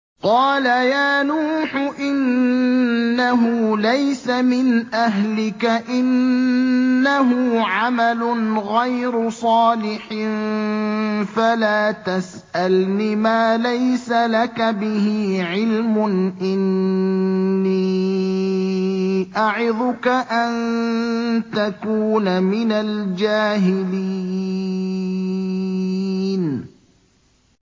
قَالَ يَا نُوحُ إِنَّهُ لَيْسَ مِنْ أَهْلِكَ ۖ إِنَّهُ عَمَلٌ غَيْرُ صَالِحٍ ۖ فَلَا تَسْأَلْنِ مَا لَيْسَ لَكَ بِهِ عِلْمٌ ۖ إِنِّي أَعِظُكَ أَن تَكُونَ مِنَ الْجَاهِلِينَ